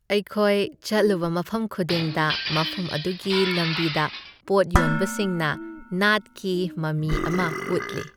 ꯑꯩꯈꯣꯏ ꯆꯠꯂꯨꯕ ꯃꯐꯝ ꯈꯨꯗꯤꯡꯗ ꯃꯐꯝ ꯑꯗꯨꯒꯤ ꯂꯝꯕꯤꯗ ꯄꯣꯠ ꯌꯣꯟꯕꯁꯤꯡꯅ ꯅꯥꯠꯀꯤ ꯃꯃꯤ ꯑꯃ ꯎꯠꯂꯤ ꯫